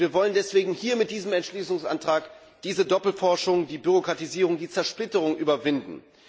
Wir wollen deswegen mit diesem Entschließungsantrag diese Doppelforschung, die Bürokratisierung, die Zersplitterung überwinden.